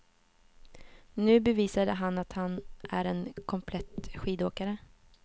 Nu bevisade han att han är en komplett skidåkare.